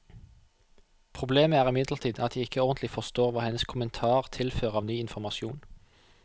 Problemet er imidlertid at jeg ikke ordentlig forstår hva hennes kommentar tilfører av ny informasjon.